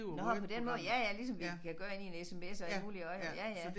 Nåh på den måde ja ja ligesom vi kan gøre inde i en sms og alt muligt også ja ja